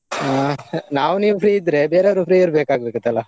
ಹಾ. ನಾವು ನೀವು free ಇದ್ರೆ ಬೇರೆಯವರು free ಇರ್ಬೇಕಾಗ್ತಿತ್ತಲ್ಲಾ.